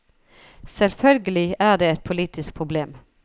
Selvfølgelig er det et politisk problem.